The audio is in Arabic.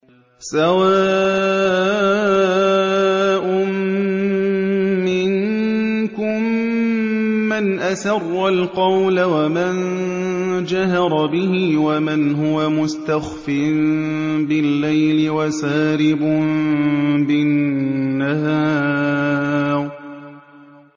سَوَاءٌ مِّنكُم مَّنْ أَسَرَّ الْقَوْلَ وَمَن جَهَرَ بِهِ وَمَنْ هُوَ مُسْتَخْفٍ بِاللَّيْلِ وَسَارِبٌ بِالنَّهَارِ